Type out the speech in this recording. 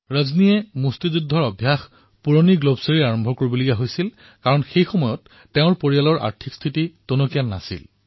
ৰজনীয়ে প্ৰথমে পুৰণি গ্লভছৰ সৈতে অনুশীলন কৰিবলগীয়া হৈছিল কিয়নো সেই সময়ত তেওঁলোকৰ পৰিয়ালৰ আৰ্থিক অৱস্থা সুচল নাছিল